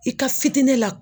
I ka fitinɛ la